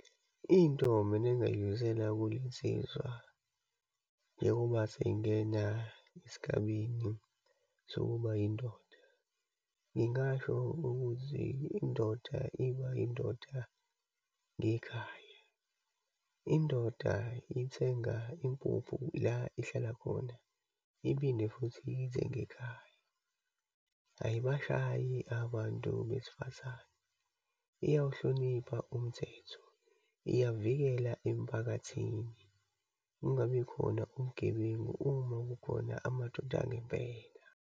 Into mina engingayidlulisela kulensizwa, njengoba seyingena esigabeni sokuba yindoda. Ngingasho ukuthi indoda iba indoda ngekhaya. Indoda ithenga impuphu la ihlala khona, iphinde futhi iyithenge ekhaya. Ayibashayi abantu besifazane, iyawuhlonipha umthetho, iyavikela emphakathini, kungabikhona ubugebengu uma kukhona amadoda angempela.